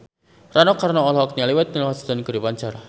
Rano Karno olohok ningali Whitney Houston keur diwawancara